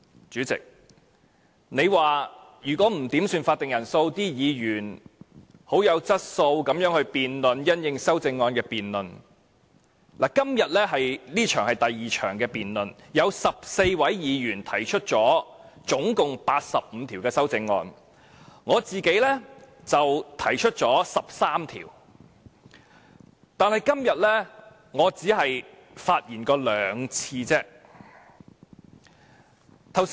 主席，你說如果議員不要求點算法定人數，而議員又很有質素地因應修正案進行辯論，今天這一節是第2項辯論，有14位議員可以提出總共85項修正案，而我自己提出了13項，但今天我只是發言了兩次而已。